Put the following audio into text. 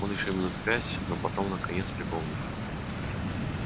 он ещё минут пять но потом наконец припомнил